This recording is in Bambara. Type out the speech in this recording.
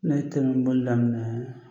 Ne ye telimanni boli daminɛ